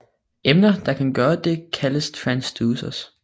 Emner der kan gøre det kaldes transducere